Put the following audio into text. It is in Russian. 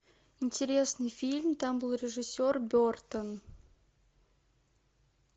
интересный фильм там был режиссер бертон